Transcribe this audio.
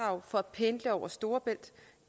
og så